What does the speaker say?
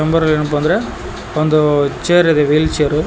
ಏನಪ್ಪಾ ಅಂದ್ರೆ ಒಂದು ಚೇರಿದೆ ವೀಲ್ ಚೇರು.